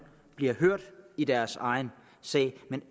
bliver hørt i deres egen sag men